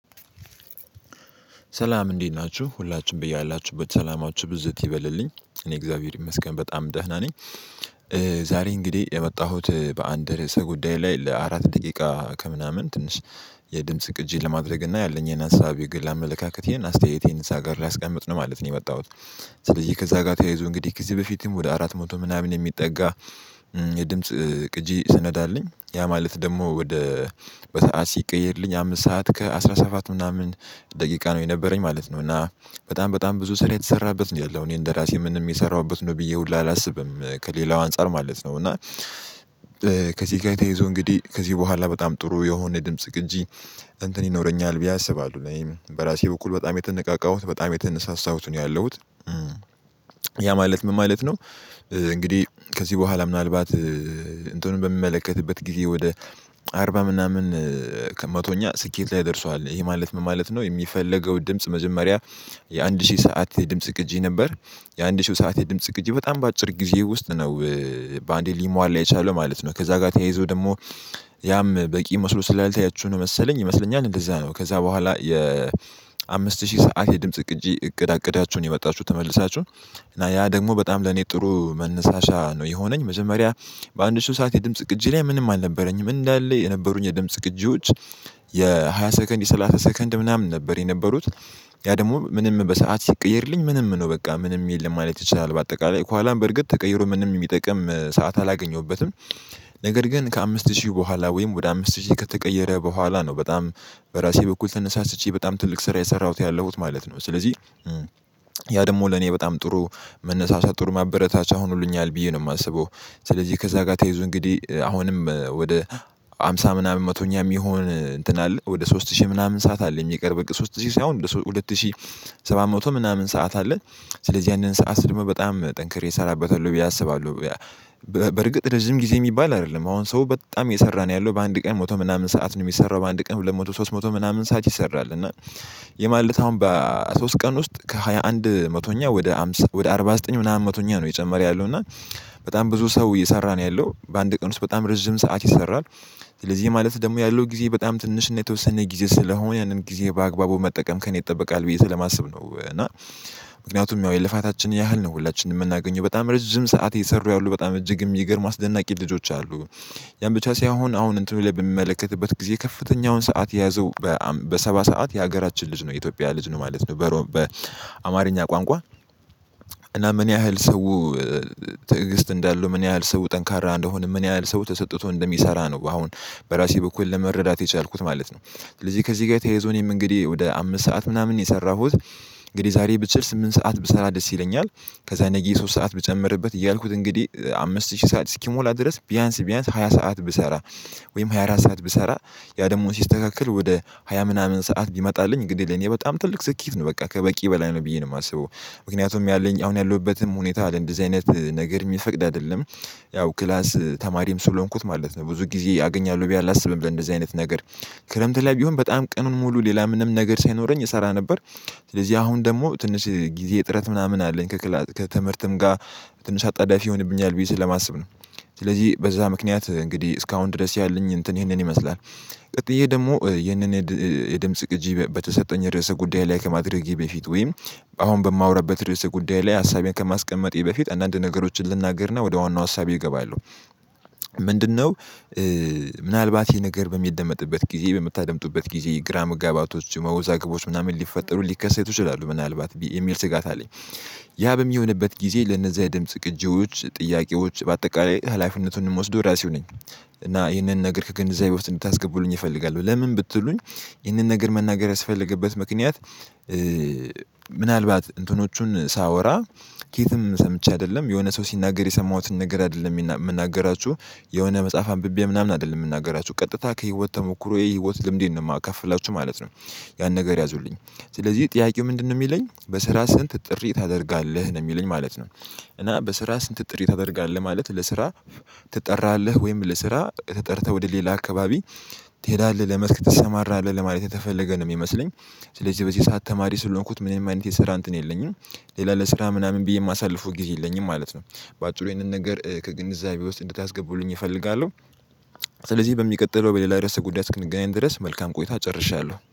ሰላም እንዴት ናችሁ ሁላችሁም በያላችሁበት ሰላማችሁ ብዝት ይበልልኝ እኔ እግዚአብሔር ይመስገን በጣም ደህና ነኝ። ዛሬ እንግዲህ የመጣሁት በአንድ ርዕሰ ጉዳይ ላይ ለአራት ደቂቃ ከምናምን ትንሽ የድምጽ ቅጂ ለማድረግ እና ያለኝ ሀሳብ የግል አመለካከቴን አስተያየቴን እዛ ጋር ላስቀምጥ ነው ማለት ነው። የመጣሁት ስለዚህ ከዛ ጋር ተያይዞ እንግዲህ ከዚ በፊትም ወደ አራት መቶ ምናምን የሚጠጋ የድምጽ ቅጂ ሰነድ አለኝ። ያማለት ደግሞ ወደ በሰአት ሲቀየርልኝ አምስት ሰዓት ከአሥራ ሰባት ምናምን ደቂቃ ነው የነበረኝ ማለት ነው። እና በጣም በጣም ብዙ ስራ የተሰራበት ነው ያለው እኔ እንደራሴ ምንም የሰራሁበት ነው ብዬ ሁላ አላስብም ከሌላው አንፃር ማለት ነው። እና ከዚህ ጋር ተይዞ እንግዲህ ከዚህ በኋላ በጣም ጥሩ የሆነ ድምጽ ግንጂ እንትን ይኖረኛል ብዬ አስባለሁ በራሴ በኩል በጣም የተነቃቃሁት በጣም የተነሳሳሁት ነው ያለሁት ያ ማለት ምን ማለት ነው? እንግዲህ ከዚህ በኋላ ምናልባት እንትኑን በሚመለከትበት ጊዜ ወደ አርባ ምናምን ከመቶኛ ስኬት ላይ ደርሷል ይሄ ማለት ምን ማለት ነው? የሚፈለገው ድምጽ መጀመሪያ የአንድ ሺህ ሰዓት የድምጽ ቅጂ ነበር። የአንድ ሺህ ሰዓት የድምጽ ቅጂ በጣም በአጭር ጊዜ ውስጥ ነው። በአንዴ ሊሟላ የቻለው ማለት ነው። ከዛ ጋር ተያይዞ ደግሞ ያም በቂ መስሎ ስላልታያችሁ ነው መሰለኝ ይመስለኛል እንደዛ ነው። ከዛ በኋላ የአምስት ሺህ ሰዓት የድምጽ ቅጂ እቅድ አቅዳችሁ ነው የመጣችሁ ተመልሳችሁ? እና ያ ደግሞ በጣም ለኔ ጥሩ መነሳሻ ነው የሆነኝ። መጀመሪያ በአንድ ሺህ ሰዓት የድምጽ ቅጂ ላይ ምንም አልነበረኝም እንዳለ የነበሩኝ የድምጽ ቅጂዎች። የሃያ ሰከንድ የሰላሳ ሰከንድ ምናምን ነበር የነበሩት። ያ ደግሞ ምንም በሰአት ሲቀየርልኝ ምንም ነው በቃ ምንም የለም ማለት ይቻላል። በአጠቃላይ ከኋላም በርግጥ ተቀይሮ ምንም የሚጠቅም ሰዓት አላገኘሁበትም። ነገር ግን ከአምስት ሺህ በኋላ ወይም ወደ አምስት ሺህ ከተቀየረ በኋላ ነው በጣም በራሴ በኩል ተነሳስቼ በጣም ትልቅ ስራ የሰራሁት ያለሁት ማለት ነው። ስለዚህ ያ ደግሞ ለኔ በጣም ጥሩ መነሳሳት ጥሩ ማበረታቻ ሆኖልኛል ብዬ ነው የማስበው። ስለዚህ ከዛ ጋር ተይዞ እንግዲህ አሁንም ወደ ሃምሳ ምናምን መቶኛ የሚሆን እንትን አለ ወደ ሶስት ሺህ ምናምን ሰዓት አለ የሚቀርብ በቃ ሶስት ሺህ ሳይሆን ሁለት ሺህ ሰባት መቶ ምናምን ሰዓት አለ። ስለዚህ ያንን ሰዓት ደግሞ በጣም ጠንክሬ እሰራበታለሁ ብዬ አስባለሁ። በርግጥ ረዥም ጊዜ የሚባል አይደለም አሁን ሰው በጣም እየሰራ ነው ያለው በአንድ ቀን ሞቶ ምናምን ሰዓት ነው የሚሰራው በአንድ ቀን ሁለት መቶ ሶስት መቶ ምናምን ሰዓት ይሰራል። እና ይህ ማለት አሁን በሶስት ቀን ውስጥ ከሃያ አንድ መቶኛ ወደ አምሳ ወደ አርባ ዘጠኝ ምናምን መቶኛ ነው የጨመረ ያለው። እና በጣም ብዙ ሰው እየሰራ ነው ያለው በአንድ ቀን ውስጥ በጣም ረጅም ሰዓት ይሰራል። ስለዚህ ማለት ደግሞ ያለው ጊዜ በጣም ትንሽ ነው የተወሰነ ጊዜ ስለሆነ ያንን ጊዜ በአግባቡ መጠቀም ከእኔ ይጠበቃል ብዬ ስለማስብ ነው። እና ምክንያቱም ያው የልፋታችንን ያህል ነው ሁላችንም የምናገኘው በጣም ረጅም ሰዓት የሰሩ ያሉ በጣም እጅግም የሚገርሙ አስደናቂ ልጆች አሉ። ያን ብቻ ሳይሆን አሁን እንትኑ ላይ በሚመለከትበት ጊዜ ከፍተኛውን ሰዓት የያዘው በሰባ ሰዓት የሀገራችን ልጅ ነው የኢትዮጵያ ልጅ ነው ማለት ነው። በሮም በአማርኛ ቋንቋ እና ምን ያህል ሰው ትዕግስት እንዳለው ምን ያህል ሰው ጠንካራ እንደሆነ ምን ያህል ሰው ተሰጥቶ እንደሚሰራ ነው። አሁን በራሴ በኩል ለመረዳት የቻልኩት ማለት ነው። ስለዚህ ከዚህ ጋር ተያይዞ እኔም እንግዲህ ወደ አምስት ሰዓት ምናምን የሰራሁት እንግዲህ ዛሬ ብችል ስምንት ሰዓት ብሰራ ደስ ይለኛል። ከዛ ነገ ሶስት ሰዓት ብጨምርበት እያልኩት እንግዲህ አምስት ሺህ ሰዓት እስኪሞላ ድረስ ቢያንስ ቢያንስ ሃያ ሰዓት ብሰራ። ወይም ሃያ አራት ሰዓት ብሰራ። ያ ደግሞ ሲስተካከል ወደ ሃያ ምናምን ሰዓት ቢመጣልኝ ግድ ለኔ በጣም ትልቅ ስኬት ነው በቃ ከበቂ በላይ ነው ብዬ ነው የማስበው። ምክንያቱም ያለኝ አሁን ያለሁበትም ሁኔታ አለ እንደዚህ አይነት ነገር የሚፈቅድ አይደለም። ያው ክላስ ተማሪም ስለሆንኩት ማለት ነው ብዙ ጊዜ አገኛለሁ ብዬ አላስብም በእንደዚህ አይነት ነገር። ክረምት ላይ ቢሆን በጣም ቀኑን ሙሉ ሌላ ምንም ነገር ሳይኖረኝ እሰራ ነበር። ስለዚህ አሁን ደግሞ ትንሽ ጊዜ እጥረት ምናምን አለኝ። ከትምህርትም ጋር ትንሽ አጣዳፊ ይሆንብኛል ብዬ ስለማስብ ነው። ስለዚህ በዛ ምክንያት እንግዲህ እስካሁን ድረስ ያለኝ እንትን ይህንን ይመስላል። ቀጥዬ ደግሞ ይህንን። የድምጽ ቅጂ በተሰጠኝ ርዕሰ ጉዳይ ላይ ከማድረጌ በፊት ወይም አሁን በማወራበት ርዕሰ ጉዳይ ላይ ሀሳቤን ከማስቀመጤ በፊት አንዳንድ ነገሮችን ልናገር ነው ወደ ዋናው ሀሳቤ እገባለሁ። ምንድነው? ምናልባት ይሄ ነገር በሚደመጥበት ጊዜ በምታደምጡበት ጊዜ ግራ መጋባቶች መወዛገቦች ምናምን ሊፈጠሩ ሊከሰቱ ይችላሉ ምናልባት የሚል ስጋት አለኝ። ያ በሚሆንበት ጊዜ ለነዛ የድምጽ ግጆች ጥያቄዎች በአጠቃላይ ሀላፊነቱን የምወስደው ራሴው ነኝ። እና ይህንን ነገር ከግንዛቤ እንድታስገቡኝ እፈልጋለሁ ለምን ብትሉኝ? ይህንን ነገር መናገር ያስፈልገበት ምክንያት። ምናልባት እንትኖቹን ሳወራ ከየትም ሰምቼ አይደለም የሆነ ሰው ሲናገር የሰማሁትን ነገር አይደለም የምናገራችሁ። የሆነ መጽሐፍ አንብቤ ምናምን አይደለም የምናገራችሁ ቀጥታ ከህይወት ተሞክሮ የህይወት ልምዴን ነው የማከፍላችሁ ማለት ነው። ያን ነገር ያዙልኝ። ስለዚህ ጥያቄው ምንድነው የሚለኝ በስራ ስንት ጥሪ ታደርጋለህ ነው የሚለኝ ማለት ነው። እና በስራ ስንት ጥሪ ታደርጋለህ ማለት ለስራ። ትጠራለህ ወይም ለስራ ተጠርተህ ወደ ሌላ አካባቢ ትሄዳለህ ለመስክ ትሰማራለህ ለማየት የተፈለገ ነው የሚመስለኝ። ስለዚህ በዚህ ሰዓት ተማሪ ስለሆንኩት ምንም አይነት የሰራ እንትን የለኝም። ሌላ ለስራ ምናምን ብዬ የማሳልፈው ጊዜ የለኝም ማለት ነው። በአጭሩ ይሄንን ነገር ከግንዛቤ ውስጥ እንድታስገቡልኝ እፈልጋለሁ። ስለዚህ በሚቀጥለው በሌላ ርዕሰ ጉዳይ እስክንገናኝ ድረስ መልካም ቆይታ ጨርሻለሁ